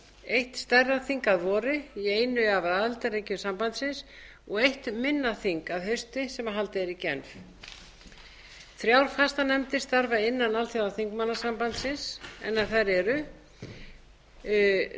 eitt stærra þing að vori í einu af aðildarríkjum sambandsins og eitt minna þing að hausti sem er haldið í genf þrjár fastanefndir starfa innan alþjóðaþingmannasambandsins en þær eru fyrstu